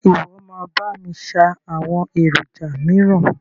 Ṣe ìwọ máa bá mi ṣáá àwọn èròjà míràn?